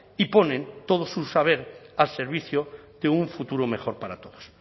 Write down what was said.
y ponen todo su saber al servicio de un futuro mejor para todos